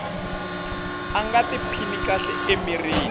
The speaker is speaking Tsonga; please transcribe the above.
a nga tiphini kahle emirini